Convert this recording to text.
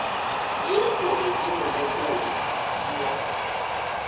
ke gore dimolekule di a